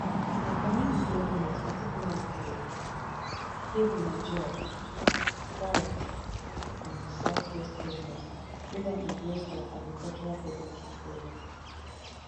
i commend di govnors particularly for kebbi niger jigawa kwara nasarawa and di southwest govnors wey don embrace our agricultural production programme